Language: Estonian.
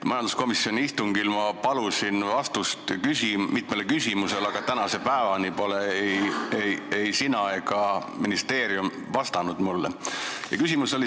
Majanduskomisjoni istungil palusin ma vastust mitmele küsimusele, aga tänase päevani pole ei sina ega ministeerium mulle vastanud.